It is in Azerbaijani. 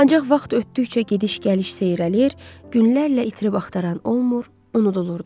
Ancaq vaxt ötdükcə gediş-gəliş seyrəlir, günlərlə itirib-axtaran olmur, unudulurdu.